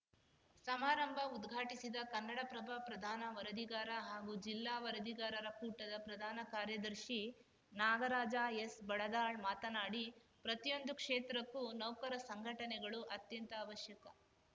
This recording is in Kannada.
ಸಮಾರಂಭ ಉದ್ಘಾಟಿಸಿದ ಕನ್ನಡಪ್ರಭ ಪ್ರಧಾನ ವರದಿಗಾರ ಹಾಗೂ ಜಿಲ್ಲಾ ವರದಿಗಾರರ ಕೂಟದ ಪ್ರಧಾನ ಕಾರ್ಯದರ್ಶಿ ನಾಗರಾಜ ಎಸ್‌ ಬಡದಾಳ್‌ ಮಾತನಾಡಿ ಪ್ರತಿಯೊಂದು ಕ್ಷೇತ್ರಕ್ಕೂ ನೌಕರ ಸಂಘಟನೆಗಳು ಅತ್ಯಂತ ಅವಶ್ಯಕ